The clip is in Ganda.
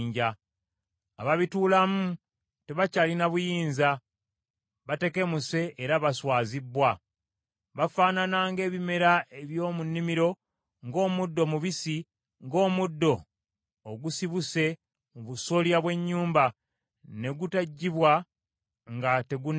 Ababituulamu tebakyalina buyinza, batekemuse era baswazibbwa. Bafaanana ng’ebimera eby’omu nnimiro, ng’omuddo omubisi, ng’omuddo ogusibuse mu busolya bw’ennyumba, ne gutugibwa nga tegunnakula.